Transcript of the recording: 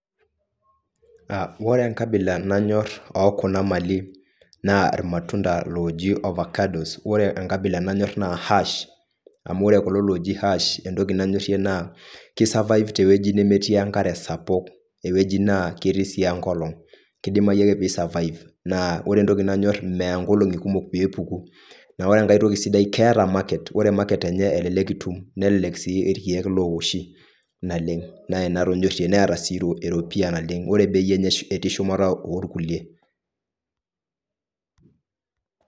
Ore enkabila nanyor okuna mali naa irmatunda loji oakados ,ore enkabila nanyor naa hash , amuore kulo loji hash entoki nanyorie naa kisurvive tewueji nemetii enkare sapuk tewueji netii enkolong ,kidimayu ake pisurvive naa ore entoki nanyor meya nkolongi kumok pepuku ,naa ore enkae toki sidai keeta market , ore market enye elelek itum , nelelek si irkeik looshi naleng , neeta si eropiyia naleng ,ore bei enye etii shumata irkulie.